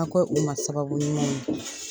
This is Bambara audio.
ko u ma sababu ɲuman ye.